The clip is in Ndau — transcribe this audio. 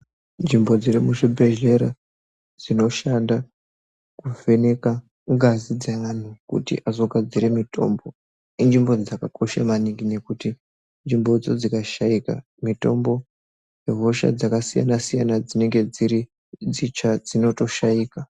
Nzvimbo dzirikuzvibhedhlera dzinoshanda kuvheneka ngazi dzevanhu kuti azokugadzira mitombo, inzvimbo dzakakosha maningi nekuti inzvimbo dzo dzikashaika mitombo nehosha dzakasiyana-siyana dzinenge dziri dzitsva dzinotoshaika.